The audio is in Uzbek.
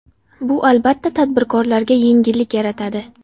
Bu, albatta, tadbirkorlarga yengillik yaratadi.